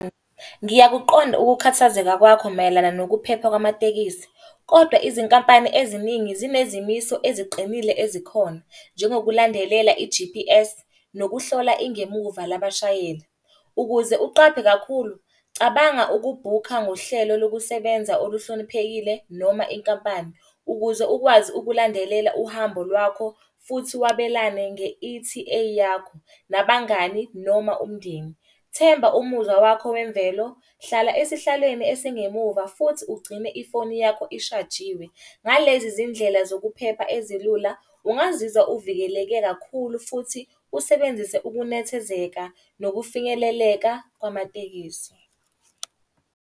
Ngiyakuqonda ukukhathazeka kwakho mayelana nokuphepha kwamatekisi, kodwa izinkampani eziningi zinezimiso eziqinile ezikhona. Njengokulandelela i-G_P_S, nokuhlola ingemuva labashayeli. Ukuze uqaphe kakhulu, cabanga ukubhukha ngohlelo lokusebenza oluhloniphekile noma inkampani. Ukuze ukwazi ukulandelela uhambo lwakho, futhi wabelane nge-E_T_A yakho nabangani noma umndeni. Themba umuzwa wakho wemvelo, hlala esihlalweni esingemuva, futhi ugcine ifoni yakho ishajiwe. Ngalezi zindlela zokuphepha ezilula, ungazizwa uvikeleke kakhulu futhi usebenzise ukunethezeka nokufinyeleleka kwamatekisi.